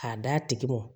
K'a d'a tigi mɔ